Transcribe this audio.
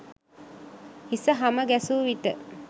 හිස හම ගැසු විට